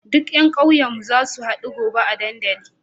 Duka yan ƙauyen mu zasu hadu gobe a dandali